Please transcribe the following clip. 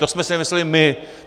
To jsme si nevymysleli my.